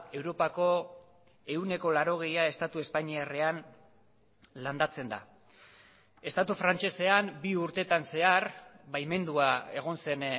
europako ehuneko laurogeia estatu espainiarrean landatzen da estatu frantsesean bi urtetan zehar baimendua egon zen